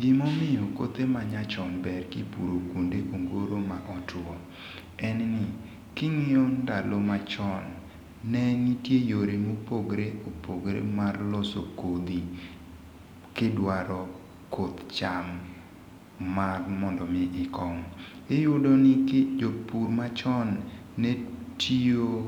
Gima omiyo kothe ma nyachon beyo kipuro kuonde ma ongoro motwo, en ni, kingíyo ndalo machon, ne nitie yore mopogore opogore mar loso kodhi, kidwaro koth cham mar modo omi ikom. Iyudo ni jopur machon ne tiyo